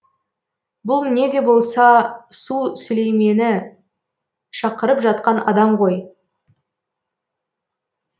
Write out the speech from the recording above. бұл не де болса су сүлеймені шақырып жатқан адам ғой